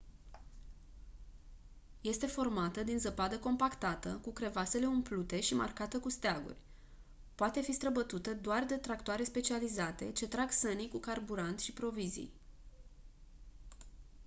este formată din zăpadă compactată cu crevasele umplute și marcată cu steaguri poate fi străbătută doar de tractoare specializate ce trag sănii cu carburant și provizii